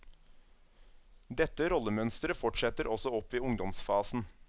Dette rollemønsteret fortsetter også opp i ungdomsfasen.